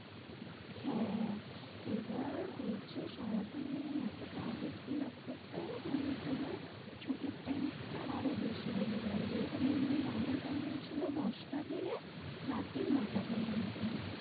হ্যাঁ এবার বলছে সারাদিনে এত target fill up করতে হবে নাহলে তোমার ছুটির time টা আরোও বেশি বেড়ে যাবে। যেরকম এমনি normal timing ছিল দশটা থেকে রাত্রি না টা পর্যন্ত।